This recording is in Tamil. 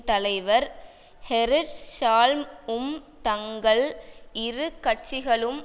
தலைவர் ஹெரிற் ஷால்ம் உம் தங்கள் இரு கட்சிகளும்